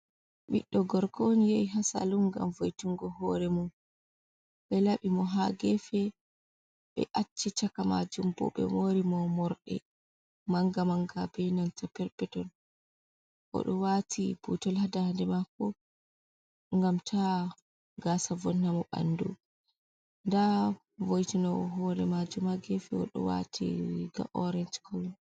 Biddo gorko un yehi ha salun gam voitungo hore mom be labi mo ha gefe be acci chaka majum bo be mori mo morde manga manga be nanta perpetol o do wati butol ha dande mako gam ta gasa vonna mo bandu da voitinowo hore majum ha gefe o do wati riga orange kolo.